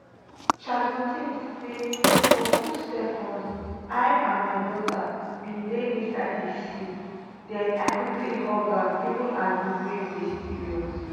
charlotte say for two seconds i and my daughter bin dey inside di sea den i quickly hug am even as di waves dey serious